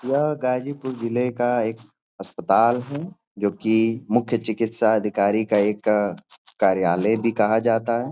यह गाजीपुर जिले का एक अस्पताल है जोकि मुख्य चिकित्साधिकारी का एक कार्यालय भी कहा जाता है।